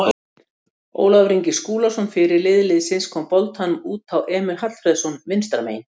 Ólafur Ingi Skúlason fyrirliði liðsins kom boltanum út á Emil Hallfreðsson vinstra megin.